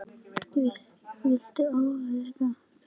Viltu athuga það líka!